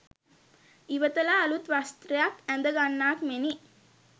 ඉවතලා අලුත් වස්ත්‍රයක් ඇඳගන්නාක් මෙනි.